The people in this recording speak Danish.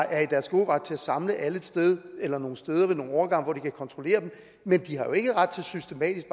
er i deres gode ret til at samle alle et sted eller nogle steder ved nogle overgange hvor de kan kontrollere dem men de har ikke ret til systematisk